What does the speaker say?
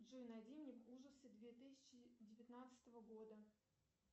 джой найди мне ужасы две тысячи девятнадцатого года